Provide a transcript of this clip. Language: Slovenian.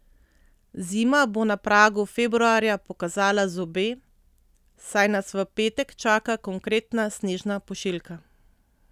Zima bo na pragu februarja pokazala zobe, saj nas v petek čaka konkretna snežna pošiljka.